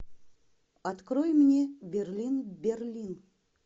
открой мне берлин берлин